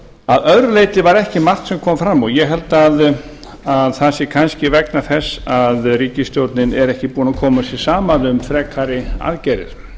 að öðru leyti var ekki margt sem kom fram og ég held að það sé kannski vegna þess að ríkisstjórnin er ekki búin að koma sér saman um frekari aðgerðir